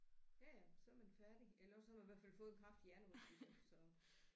Ja ja så er man færdig eller også så har man i hvert fald fået en kraftig hjernerystelse så